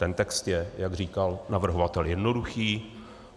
Ten text je, jak říkal navrhovatel, jednoduchý.